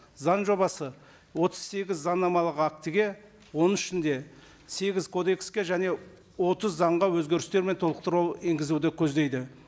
заң жобасы отыз сегіз заңнамалық актіге оның ішінде сегіз кодекске және отыз заңға өзгерістер мен толықтыру енгізуді көздейді